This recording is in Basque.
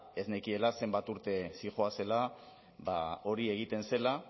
ez nekiela zenbat urte zihoazela hori egiten zela